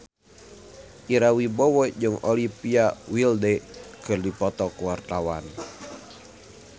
Ira Wibowo jeung Olivia Wilde keur dipoto ku wartawan